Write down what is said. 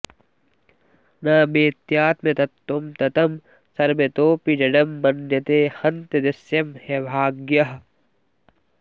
न वेत्त्यात्मतत्त्वं ततं सर्वतोऽपि जडं मन्यते हन्त दृश्यं ह्यभाग्यः